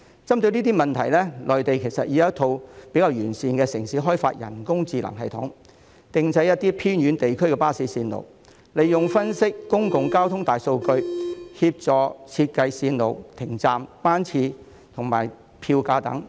針對這些問題，內地其實已有城市開發了一套比較完善的人工智能系統，編製一些偏遠地區的巴士路線，分析公共交通大數據，協助設計路線、停站、班次、票價等。